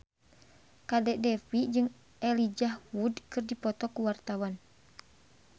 Kadek Devi jeung Elijah Wood keur dipoto ku wartawan